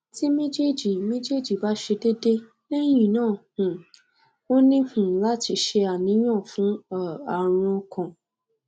ti mejeji mejeji ba se dede lehina um o ni um lati se aniyan fun um arun okan